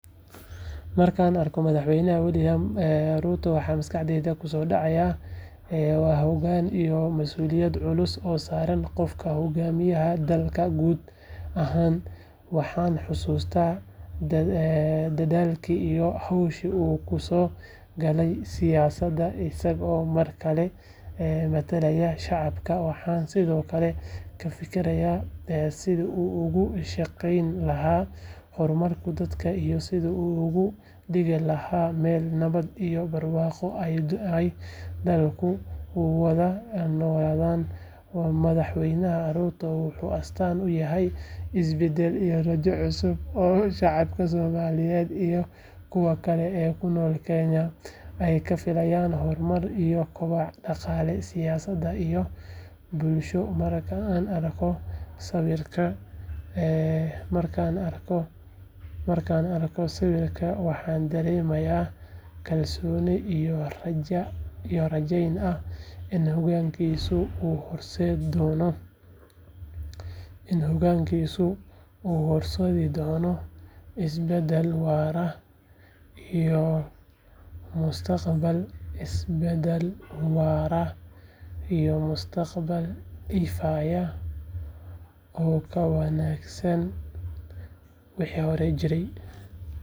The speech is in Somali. Markan arko madhax weynaha wiliam ruto waxaa maskaxdeyda kusodacaya waa hogan iyo masuliyad culus oo saran qofka hogamiyaha ah dalka guud ahan waxan xasusta dadhalki iyo howshi u kuso galay siyasaadi isago markale matalaya shacabki waxan sithokale sithi u ugu shaqeyni laha hormarka dadka iyo sithu ugu digi laha meel nawaad iyo meel barwaqo dadhalku u wadha ama madhaxweynaha ruto wuxuu astan uyaha hormar, markan arko sawirka waxan daremaya rajo in hogankisu u noqonaya mustaqbal iyo mustaqbal ifayo oo ka wanagsan wixi hore jire.